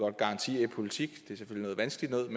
at garantier i politik er noget vanskeligt noget